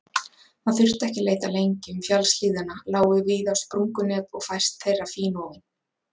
Hann þurfti ekki að leita lengi, um fjallshlíðina lágu víða sprungunet og fæst þeirra fínofin.